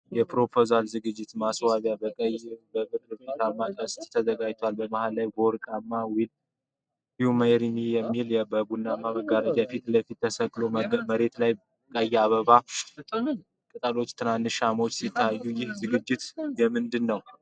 የፕሮፖዛል ዝግጅት ማስዋቢያ በቀይና በብር ፊኛዎች ቅስት ተዘጋጅቷል። በመሃል ላይ፣ ወርቃማው "ዊል ዩ ሜሪይ ሚ” የሚለው ጽሑፍ በቡናማ መጋረጃ ፊት ለፊት ተሰቅሏል። መሬት ላይ ቀይ የአበባ ቅጠሎችና ትናንሽ ሻማዎች ሲታዩ፣ ይህ ዝግጅት የምንድን ነው?